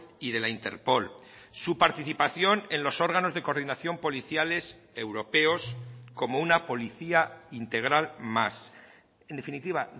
y de la interpol su participación en los órganos de coordinación policiales europeos como una policía integral más en definitiva